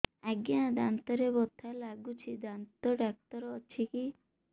ଆଜ୍ଞା ଦାନ୍ତରେ ବଥା ଲାଗୁଚି ଦାନ୍ତ ଡାକ୍ତର ଅଛି କି